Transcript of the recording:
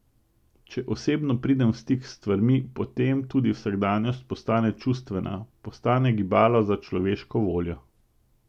Če osebno pridem v stik s stvarmi, potem tudi vsakdanjost postane čustvena, postane gibalo za človeško voljo.